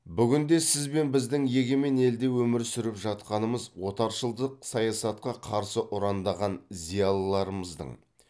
бүгінде сіз бен біздің егемен елде өмір сүріп жатқанымыз отаршылдық саясатқа қарсы ұрандаған зиялыларымыздың